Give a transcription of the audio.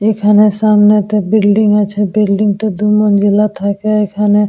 এখানে সামনে তো বিল্ডিং আছে বিল্ডিং -টা থাকে এখানে--